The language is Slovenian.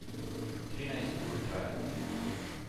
Trinajst ur traja.